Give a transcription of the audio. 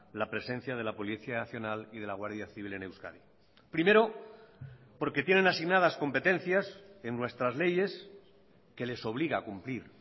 la presencia de la policía nacional y de la guardia civil en euskadi primero porque tienen asignadas competencias en nuestras leyes que les obliga a cumplir